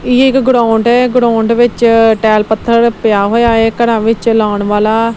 ਇਹ ਇੱਕ ਗਰਾਊਂਡ ਹੈ ਗਰਾਊਂਡ ਵਿੱਚ ਟਾਈਲ ਪੱਥਰ ਪਿਆ ਹੋਇਆ ਹੈ ਘਰਾਂ ਵਿੱਚ ਲਾਉਣ ਵਾਲਾ।